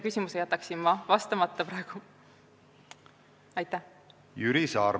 Jüri Saar, palun!